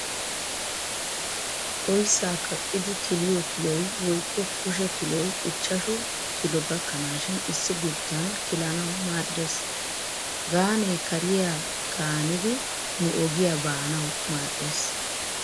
Oyissaa kaqqidi kiliyo kiloy woykko kushe kiloy ichchashu kilo gakkanaashin issi guttan kilanawu maaddes. Gaanee kariya qaanidi nu ogiya baanawu maaddees.